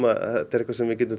eitthvað sem við getum